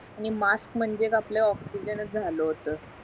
आणि मास्क म्हणजे एक आपल्या ऑक्सिजनचं झालं होत